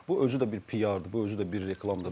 Bu özü də bir piardır, bu özü də bir reklamdır.